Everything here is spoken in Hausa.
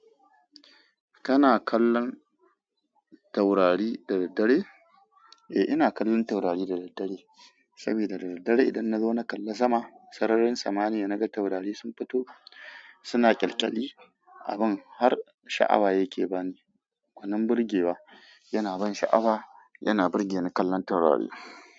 Kana kallon taurari da daddare? Eh, ina kallon taurari da daddare saboda da daddare idan nazo na kalli sama, sararin sama niya naga taurari sun fito suna kyalkyali a bun har sha'awa yake bani. Gwanin birgewa yana ban sha'awa, yana burge ni kallon taurari.